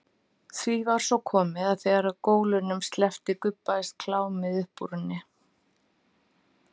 Því var svo komið að þegar gólunum sleppti gubbaðist klámið upp úr henni.